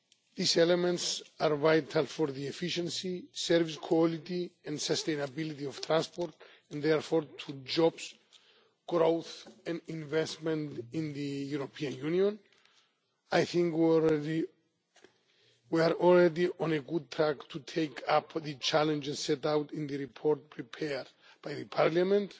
These elements are vital for the efficiency, service quality and sustainability of transport, and therefore for jobs, growth and investment in the European Union. I think we are already on track to take up the challenges set out in the report prepared by Parliament.